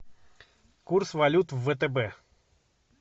курс валют в втб